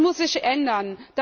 Das muss sich ändern.